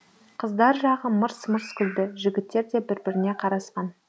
қыздар жағы мырс мырс күлді жігіттер де бір біріне қарасқан